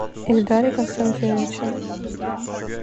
ильдаре константиновиче